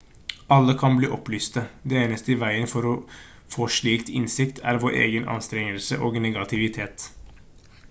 alle kan bli opplyste det eneste i veien for å få slik innsikt er vår egen anstrengelse og negativitet